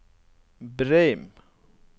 Breim